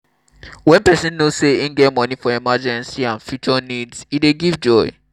when person know sey im get money for emergency and and future needs e dey give joy